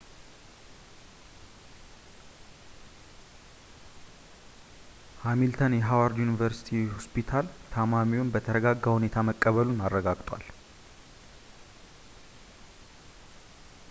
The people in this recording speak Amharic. ሀሚልተን የሃዋርድ ዩኒቨርስቲ ሆስፒታል ታማሚውን በተረጋጋ ሁኔታ መቀበሉን አረጋግጧል